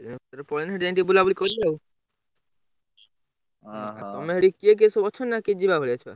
ୟା ଭିତରେ ପଳେଇନେ ସେଇଠି ଯାଇଁକି ଟିକେ ବୁଲାବୁଲି କରିବା ଆଉ ତମେ ସେଠି କିଏ କିଏ ସବୁ ଅଛନ୍ତି ନା କିଏ ଯିବା ଭଳିଆ ଛୁଆ?